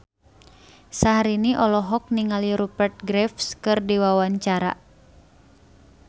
Syahrini olohok ningali Rupert Graves keur diwawancara